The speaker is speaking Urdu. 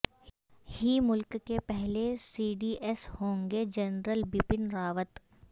ہی ملک کے پہلے سی ڈی ایس ہوں گےجنرل بپن راوت